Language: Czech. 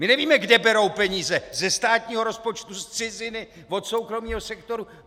My nevíme, kde berou peníze - ze státního rozpočtu, z ciziny, od soukromého sektoru?